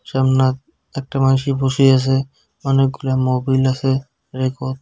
সামনা একটা মানুষে বসে আসে অনেকগুলা মোবিল আসে।